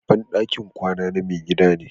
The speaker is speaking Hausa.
Babban dakin kwana na mai gidan ne.